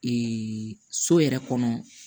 so yɛrɛ kɔnɔ